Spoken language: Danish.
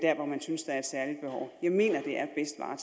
en helikopter ikke